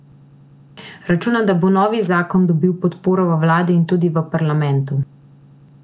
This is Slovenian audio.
Računa, da bo novi zakon dobil podporo v vladi in tudi v parlamentu.